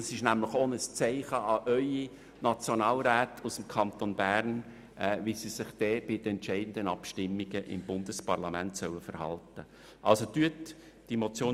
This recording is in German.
Dies ist nämlich auch ein Zeichen an Ihre Nationalräte aus dem Kanton Bern, wie sie sich in den entscheidenden Abstimmungen im Bundesparlament verhalten sollen.